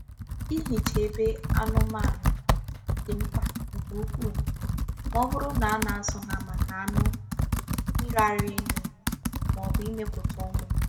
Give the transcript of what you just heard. Ịhicha ebe anụmanụ dị mkpa nke ukwuu ma ọ bụrụ na a na-azụ ha maka anụ, mmiri ara ehi, ma ọ bụ imepụta ụmụ